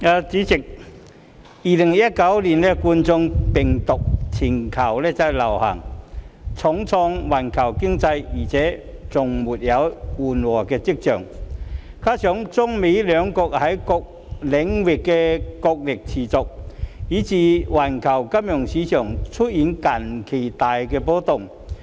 代理主席 ，2019 冠狀病毒病全球大流行重創環球經濟而且未有緩和跡象，加上中美兩國在各領域的角力持續，以致環球金融市場近期大幅波動。